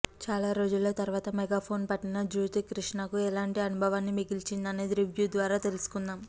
చాలా రోజుల తర్వాత మెగాఫోన్ పట్టిన జ్యోతికృష్ణకు ఎలాంటి అనుభవాన్ని మిగిల్చింది అనేది రివ్యూ ద్వారా తెలుసుకుందాం